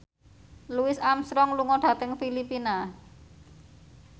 Louis Armstrong lunga dhateng Filipina